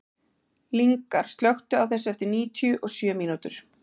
Lyngar, slökktu á þessu eftir níutíu og sjö mínútur.